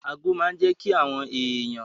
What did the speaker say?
Ago máa n jẹ́ kí àwọn èèyàn